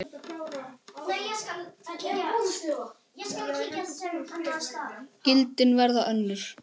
Gildin verða önnur.